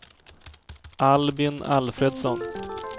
Albin Alfredsson